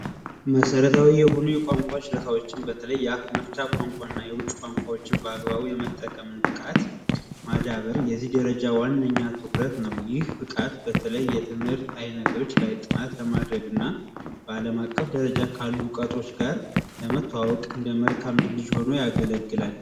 መሰረታዊ የሆኑ የቋንቋ ችሎታዎችን በተለይ የአፍ መፍቻ ቋንቋና የውጭ ቋንቋዎችን በአግባቡ መረዳትና የመጠቀም ብቃት ዋነኛ ተግባሩ ነው። ይህ ብቃት በተለይ የትምህርት አይነቶች ላይ ጥናት ለማድረግና በአለም አቀፍ ካሉ ድርጊቶች ጋር ለመተዋወቅ እንደ መግባቢያ ሆኖ ያገለግላል።